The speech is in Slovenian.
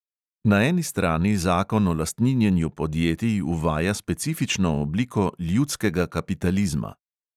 Na eni strani zakon o lastninjenju podjetij uvaja specifično obliko ljudskega kapitalizma.